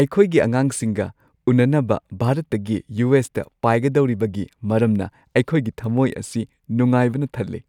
ꯑꯩꯈꯣꯏꯒꯤ ꯑꯉꯥꯡꯁꯤꯡꯒ ꯎꯅꯅꯕ ꯚꯥꯔꯠꯇꯒꯤ ꯌꯨ. ꯑꯦꯁ. ꯇ ꯄꯥꯏꯒꯗꯧꯔꯤꯕꯒꯤ ꯃꯔꯝꯅ ꯑꯩꯈꯣꯏꯒꯤ ꯊꯝꯃꯣꯏ ꯑꯁꯤ ꯅꯨꯡꯉꯥꯏꯕꯅ ꯊꯜꯂꯦ ꯫